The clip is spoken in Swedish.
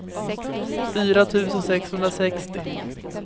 fyra tusen sexhundrasextio